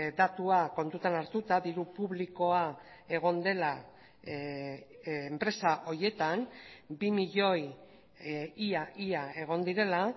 datua kontutan hartuta diru publikoa egon dela enpresa horietan bi milioi ia ia egon direla